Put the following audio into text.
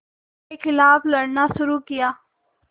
के ख़िलाफ़ लड़ना शुरू किया